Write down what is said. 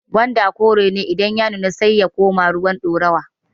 gwanda kore ne idan ya nuna sai ya koma ruwan ɗorawa